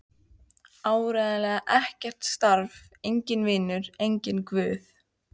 Áreiðanlega ekkert starf, enginn vinur, enginn guð.